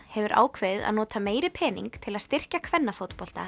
hefur ákveðið að nota meiri pening til að styrkja